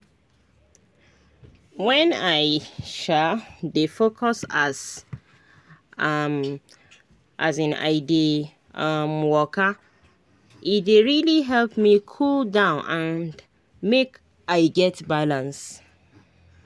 when i um dey focus as um um i dey um waka e dey really help me cool down and make i get balance.